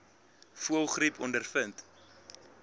voëlgriep ondervind